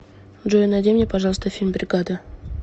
джой найди мне пожалуйста фильм бригада